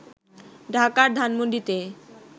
ঢাকার ধানমন্ডিতে